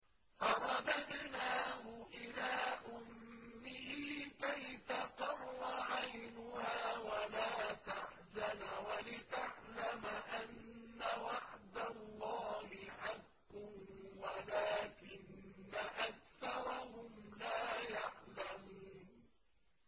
فَرَدَدْنَاهُ إِلَىٰ أُمِّهِ كَيْ تَقَرَّ عَيْنُهَا وَلَا تَحْزَنَ وَلِتَعْلَمَ أَنَّ وَعْدَ اللَّهِ حَقٌّ وَلَٰكِنَّ أَكْثَرَهُمْ لَا يَعْلَمُونَ